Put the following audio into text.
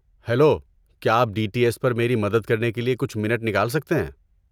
Hello, کیا آپ T D S پر میری مدد کرنے کے لیے کچھ منٹ نکال سکتے ہیں؟